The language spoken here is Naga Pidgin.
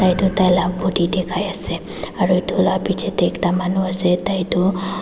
edu tai la body dikhaiase aru edu la bichae tae ekta manu ase tai tu--